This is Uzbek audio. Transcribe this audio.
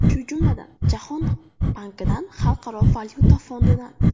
Shu jumladan, Jahon bankidan, Xalqaro valyuta fondidan.